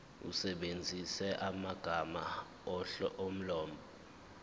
usebenzise amagama omlobi